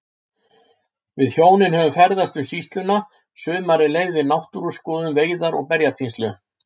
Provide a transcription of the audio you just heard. Við hjónin höfðum ferðast um sýsluna, sumarið leið við náttúruskoðun, veiðar og berjatínslu.